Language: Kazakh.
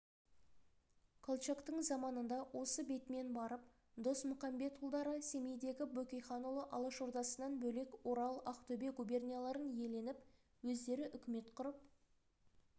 колчактың заманында осы бетімен барып досмұқамбетұлдары семейдегі бөкейханұлы алашордасынан бөлек орал ақтөбе губернияларын иеленіп өздері үкімет құрып